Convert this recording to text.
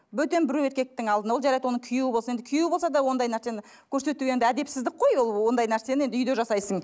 бөтен біреу еркектің алдына ол жарайды оның күйеуі болсын енді күйеуі болса да ондай нәрсені көрсету енді әдепсіздік қой ол ондай нәрсені үйде жасайсың